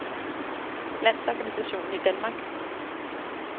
Landsorganisationen i Danmark